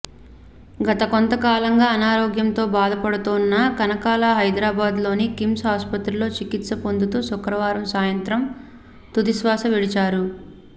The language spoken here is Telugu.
గతకొంత కాలంగా అనారోగ్యంతో బాధపడుతోన్న కనకాల హైదరాబాద్లోని కిమ్స్ ఆస్పత్రిలో చికిత్స పొందుతూ శుక్రవారం సాయంత్రం తుదిశ్వాస విడిచారు